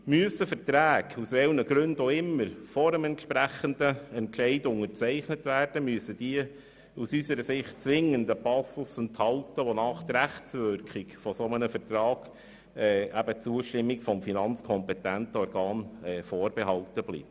Müssen Verträge aus irgendwelchen Gründen vor dem entsprechenden Entscheid unterzeichnet werden, müssen sie unseres Erachtens zwingend einen Passus enthalten, wonach die Zustimmung des ihre Rechtswirkung vorbehalten bleibt.